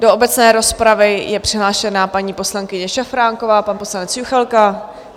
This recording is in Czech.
Do obecné rozpravy je přihlášena paní poslankyně Šafránková, pan poslanec Juchelka.